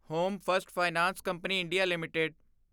home first finance company India LTD